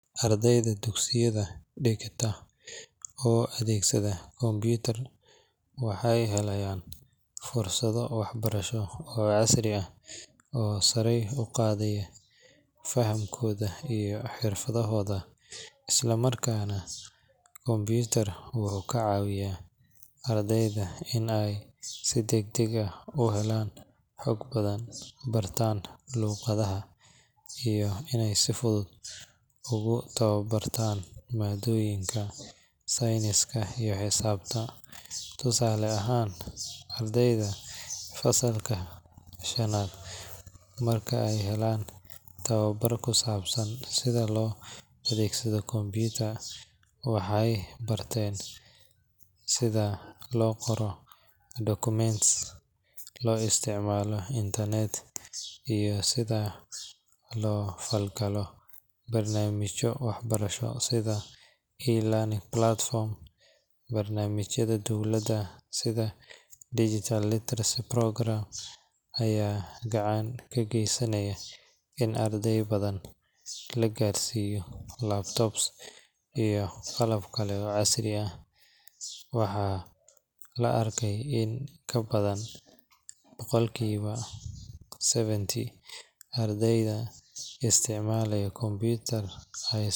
Ardayda dugsiyada dhigata oo adeegsada computer waxay helayaan fursado waxbarasho oo casri ah oo sare u qaadaya fahamkooda iyo xirfadahooda. Isticmaalka computer wuxuu ka caawiyaa ardayda in ay si degdeg ah u helaan xog badan, bartaan luqadaha, iyo inay si fudud ugu tababartaan maadooyinka sayniska iyo xisaabta. Tusaale ahaan, ardayda fasalka shanaad marka ay helaan tababar ku saabsan sida loo adeegsado computer, waxay bartaan sida loo qoro documents, loo isticmaalo internet, iyo sida loola falgalo barnaamijyo waxbarasho sida e-learning platforms. Barnaamijyada dowladda sida Digital Literacy Program ayaa gacan ka geysanaya in arday badan la gaarsiiyo laptops iyo qalab kale oo casri ah. Waxaa la arkay in in ka badan boqolkiiba seventy ardayda isticmaala computer ay.